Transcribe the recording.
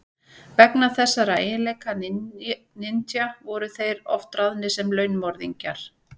Vegna þessara eiginleika ninja voru þeir oft ráðnir sem launmorðingjar.